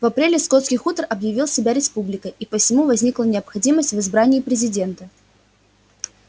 в апреле скотский хутор объявил себя республикой и посему возникла необходимость в избрании президента